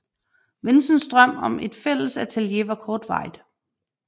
Vincents drøm om et fælles atelier var kortvarigt